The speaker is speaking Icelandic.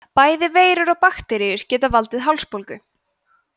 bæði veirur og bakteríur geta valdið hálsbólgu